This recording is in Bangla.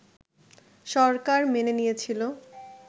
সরকার মেনে নিয়েছিল